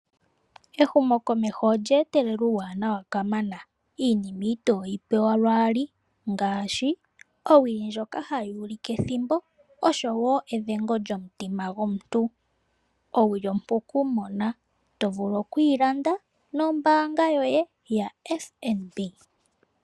Ehumokomeho olye etelela uuwanawa kamana. Iinima itoyi pewa lwaaali ngaashi owili ndjoka hayi ulike ethimbo osho wo edhengo lyomutima gwomuntu. Owili ompu okumona, to vulu okuyi landa nombaanga yoye yaFNB.